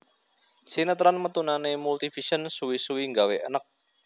Sinetron metunane Multivision suwi suwi nggawe eneg